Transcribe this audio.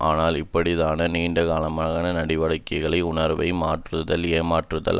ஆனால் இப்படிப்பட்டதான நீண்டகால நடவடிக்கைகளான உணர்வை மாற்றுதல் ஏமாற்றுதல்